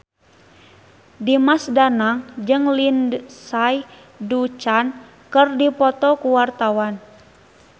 Dimas Danang jeung Lindsay Ducan keur dipoto ku wartawan